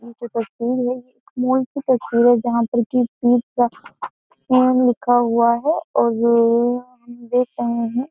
ये जो तस्वीर है यह एक माल की तस्वीर है जहाँ पर की लिखा हुआ है और हम देख रहे हैं।